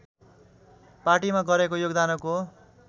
पार्टीमा गरेको योगदानको